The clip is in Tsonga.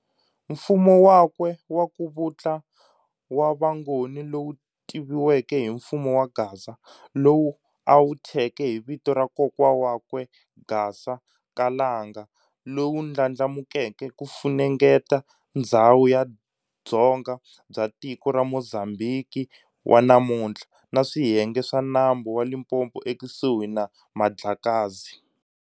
Mfumo wakwe waku vutla wa vangoni lowu tiviweke hi mfumo wa Gaza, lowu a wuthyeke hi vito ra kokwa wakwe Gasa ka Langa, lowu ndlandlamukeke kufunengeta ndzhawu ya dzonga bya tiko ra Mozambhiki wa namunthla, na swiyenge swa nambu wa Limpopo ekusuhi na Mandlakazi.